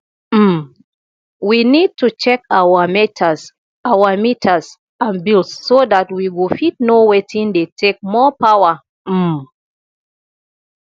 um we need to check our meters our meters and bills so dat we go fit know wetin dey take more power um